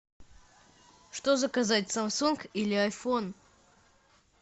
что заказать самсунг или айфон